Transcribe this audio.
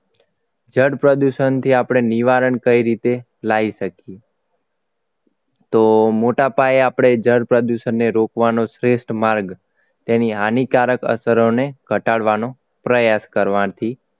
જળ પ્રદૂષણથી આપણે નિવારણ કઈ રીતે લાવી શકીએ તો મોટા પાયે આપણે જળ પ્રદૂષણને રોકવાનો શ્રેષ્ઠ માર્ગ તેની હાનિકારક અસરોને ઘટાડવાનો પ્રયાસ કરવાથી